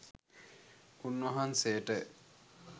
උන්වහන්සේට ය.